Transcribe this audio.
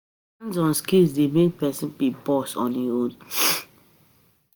Hands-on skill de make persin be boss on im own